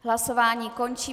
Hlasování končím.